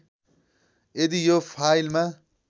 यदि यो फाइलमा